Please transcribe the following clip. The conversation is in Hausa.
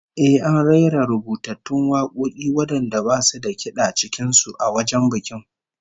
Eh, an rera rubutattun wakoki wadanda basu da kid'a cikin su, a wajen bikin